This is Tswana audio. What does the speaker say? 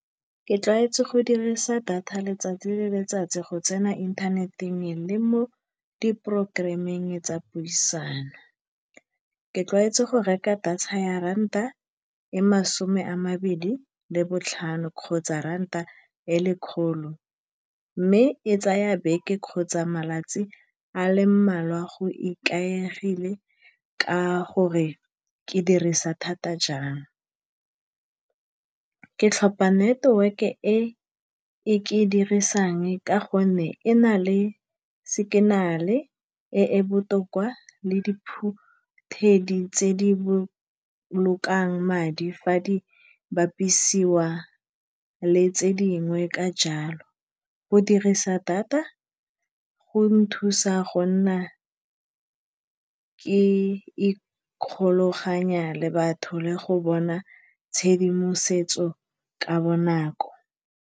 Ke tlwaetswe go dirisa data letsatsi le letsatsi go tsena mo inthaneteng le mo di programme-ng tsa puisano. Ke tlwaetse go reka data ya ranta e masome a mabedi le botlhano, kgotsa ranta e lekgolo, mme e tsaya beke kgotsa matsatsi a le mmalwa a go ikaegile ka gore ke dirisa data jang. Ke tlhopha network-e e ke e dirisang ka gonne e na le signal-e e e botoka le di tse di bolokang madi fa di bapisiwa le tse dingwe. Ka jalo, go dirisa data go nthusa go nna ke ikgolaganya le batho le go bona tshedimosetso ka bonako.